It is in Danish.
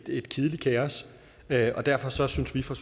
et kedeligt kaos derfor derfor synes vi fra